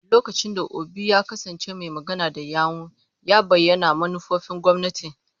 Lokacin da Obi ya kasance mai magana da yawun, ya bayyana manufofin gwamnati.